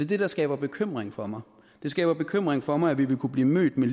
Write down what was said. det der skaber bekymring for mig det skaber bekymring for mig at vi vil kunne blive mødt med